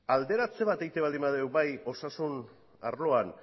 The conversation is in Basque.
alderatze bat egiten baldin badugu bai osasun arloan